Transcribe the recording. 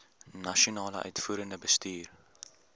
nasionale uitvoerende bestuur